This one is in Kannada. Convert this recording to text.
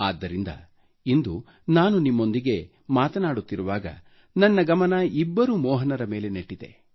ಆದ್ದರಿಂದ ಇಂದು ನಾನು ನಿಮ್ಮೊಂದಿಗೆ ಮಾತನಾಡುತ್ತಿರುವಾಗ ನನ್ನ ಗಮನ ಇಬ್ಬರು ಮೋಹನರ ಮೇಲೆ ನೆಟ್ಟಿದೆ